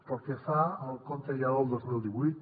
pel que fa al compte ja del dos mil divuit